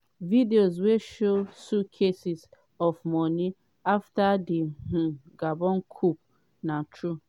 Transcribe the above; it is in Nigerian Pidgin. videos wey show suitcases of money afta di um gabon coup na true?